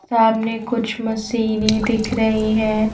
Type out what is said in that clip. सामने कुछ मशीनें दिख रही हैं.